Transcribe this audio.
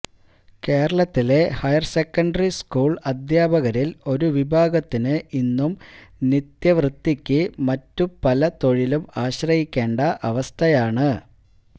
കേരളത്തിലെ higher secondary school അദ്ധ്യാപകരില് ഒരു വിഭാഗത്തിന് ഇന്നും നിത്യവൃത്തിക്ക് മറ്റു പല തൊഴിലും ആശ്രയിക്കേണ്ട അവസ്ഥയാണ്